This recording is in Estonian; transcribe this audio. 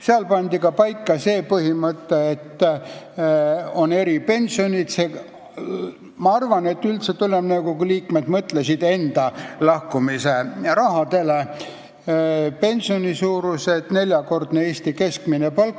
Seal pandi paika põhimõte, et on eripensionid , mille suuruseks määrati neljakordne Eesti keskmine palk.